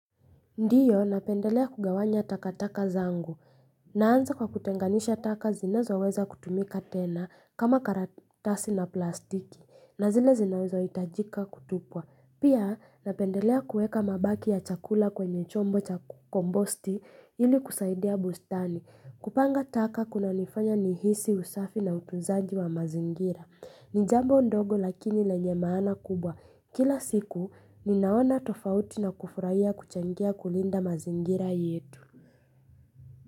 Ndiyo, napendelea kugawanya takataka zangu. Naanza kwa kutenganisha taka zinazoweza kutumika tena kama karatasi na plastiki. Na zile zinawezahitajika kutupwa. Pia, napendelea kueka mabaki ya chakula kwenye chombo cha kombosti ili kusaidia bustani. Kupanga taka kunanifanya nihisi, usafi na utunzaji wa mazingira. Ni jambo ndogo lakini lenye maana kubwa. Kila siku ninaona tofauti na kufurahia kuchangia kulinda mazingira yetu.